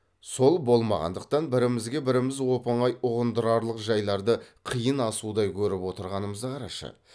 сол болмағандықтан бірімізге біріміз оп оңай ұғындырарлық жайларды қиын асудай көріп отырғанымызды қарашы